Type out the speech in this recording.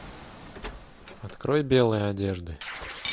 открой белые одежды